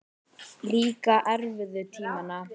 Líka erfiðu tímana.